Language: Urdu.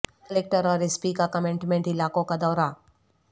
کلکٹر اور ایس پی کا کنٹینمنٹ علاقوں کا دورہ